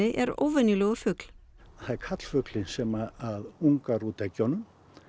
er óvenjulegur fugl það er karlfuglinn sem ungar út eggjunum